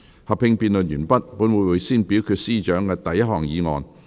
合併辯論完畢後，本會會先表決司長的第一項議案。